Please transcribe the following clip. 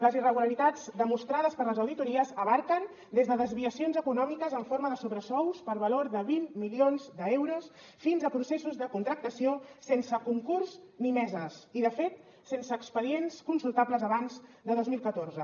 les irregularitats demostrades per les auditories abasten des de desviacions econòmiques en forma de sobresous per valor de vint milions d’euros fins a processos de contractació sense concurs ni meses i de fet sense expedients consultables abans de dos mil catorze